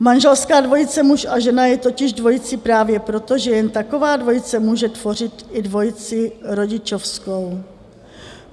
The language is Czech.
Manželská dvojice muž a žena je totiž dvojicí právě proto, že jen taková dvojice může tvořit i dvojici rodičovskou.